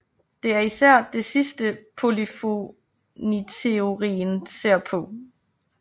Det er især det sidste polyfoniteorien ser på